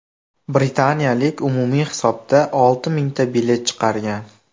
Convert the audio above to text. Britaniyalik umumiy hisobda olti mingta bilet chiqargan.